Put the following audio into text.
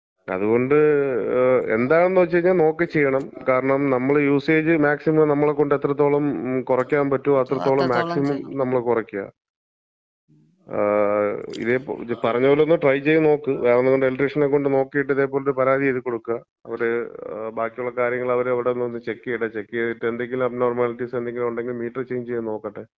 അതുകൊണ്ട് എന്താണ്ന്ന്വെച്ച് കഴിഞ്ഞാ നോക്കി ചെയ്യണം. കാരണം, നമ്മള് യൂസേജ് മാക്സിമം നമ്മളെ കൊണ്ട് എത്രത്തോളം കൊറയ്ക്കാമ്പറ്റോ, അത്രത്തോളം മാക്സിമം നമ്മള്‍ കൊറയ്ക്കാ. ഇതേ, മ് ഇത് പറഞ്ഞത് പോലെയൊന്ന് ട്രൈ ചെയ്ത് നോക്ക്, വേറെ എതെങ്കിലും എലക്ട്രീഷനെ കൊണ്ട് നോക്കീട്ട് ഇതേപൊലൊരു പരാതി എഴുതി കൊടുക്ക. അതേപോലെ ബാക്കിയുള്ള കാര്യങ്ങള് അവര് അവ്ട്ന്ന് ഒന്ന് ചെക്ക് ചെയ്യട്ടേ. ചെക്ക് ചെയ്തിട്ട് എന്തെങ്കിലും അബ്നോർമാലിറ്റീസ് എന്തെങ്കിലും ഉണ്ടെങ്കില് മീറ്റർ ചെയ്ഞ്ച് ചെയ്യാൻ നോക്കട്ടെ.